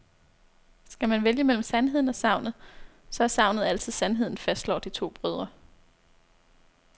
Skal man vælge mellem sandheden og sagnet, så er sagnet altid sandheden, fastslår de to brødre.